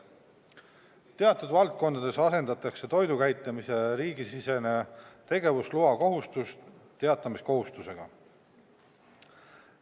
Teatud valdkondades asendatakse toidukäitlemise riigisisene tegevusloakohustus teatamiskohustusega.